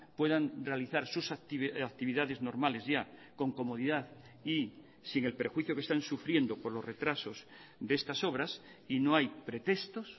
puedan realizar sus actividades normales ya con comodidad y sin el perjuicio que están sufriendo por los retrasos de estas obras y no hay pretextos